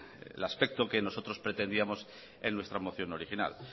el aspecto que nosotros pretendíamos en nuestra moción original